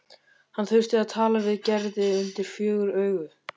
Hann þurfti að tala við Gerði undir fjögur augu.